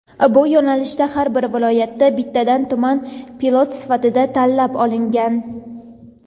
Bu yo‘nalishda har bir viloyatda bittadan tuman pilot sifatida tanlab olingan.